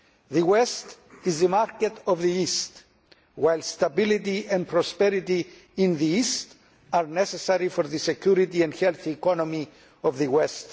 The West is the market of the East, while stability and prosperity in the East are necessary for the security and healthy economy of the West.